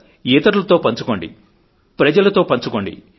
ఇతరులతో పంచుకోండి ప్రజలతో పంచుకోండి